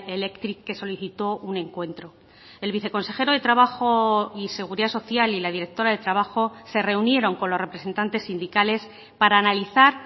electric que solicitó un encuentro el viceconsejero de trabajo y seguridad social y la directora de trabajo se reunieron con los representantes sindicales para analizar